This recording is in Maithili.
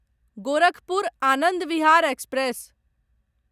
गोरखपुर आनन्द विहार एक्सप्रेस